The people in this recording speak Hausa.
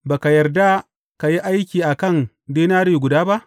Ba ka yarda ka yi aiki a kan dinari guda ba?